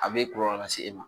A bɛ kɔlɔlɔ las'e ma.